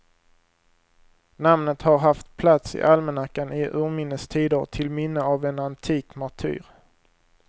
Namnet har haft plats i almanackan i urminnes tider till minne av en antik martyr.